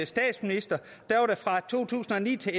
statsminister fra to tusind og ni til